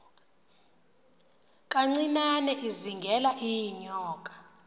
kancinane izingela iinyoka